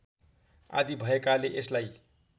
आदि भएकाले यसलाई